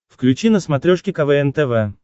включи на смотрешке квн тв